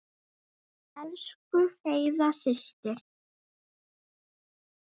Elsku Heiða systir.